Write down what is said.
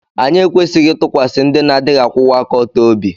Anyị ekwesịghị ịtụkwasị ndị na-adịghị akwụwa aka ọtọ obi